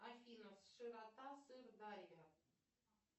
афина широта сырдарья